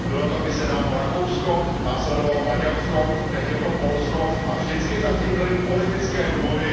Bylo to kdysi dávno Rakousko, následovalo Maďarsko, teď je to Polsko a vždy za tím byly politické důvody.